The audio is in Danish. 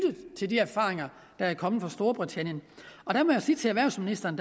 til de erfaringer der er kommet fra storbritannien der må jeg sige til erhvervsministeren